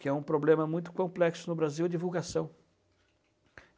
que é um problema muito complexo no Brasil, a divulgação.